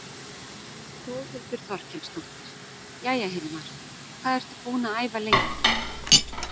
Þórhildur Þorkelsdóttir: Jæja, Hilmar, hvað ertu búinn að æfa lengi?